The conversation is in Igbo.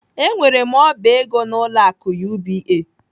Enwere m oba ego n'ụlọ akụ UBA.